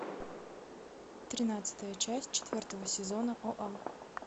тринадцатая часть четвертого сезона оа